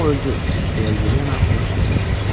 O öldü, deyə Yelena onun sözünü kəsdi.